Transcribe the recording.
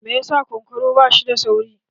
Me ya sa kunkuru ba shi da sauri?